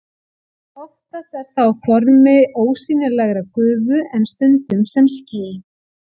Oftast er það á formi ósýnilegrar gufu en stundum sem ský.